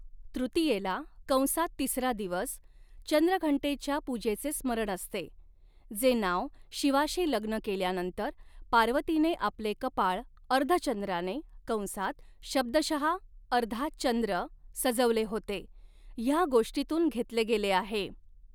तृतियेला कंसात तिसरा दिवस चंद्रघंटेच्या पूजेचे स्मरण असते, जे नाव शिवाशी लग्न केल्यानंतर, पार्वतीने आपले कपाळ अर्धचंद्राने कंसात शब्दशहा अर्धा चंद्र सजवले होते, ह्या गोष्टीतून घेतले गेले आहे.